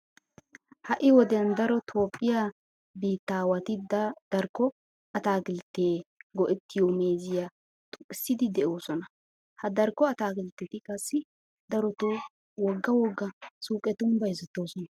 Ha"i wodiyan daro toophphiya biittaawati darko ataakiltteta go"ettiyo meeziya xoqqissiiddi de'oosona. Ha darkko ataakiltteti qassi darotoo wogga wogga suuqetun bayzettoosona.